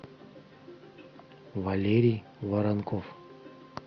валерий воронков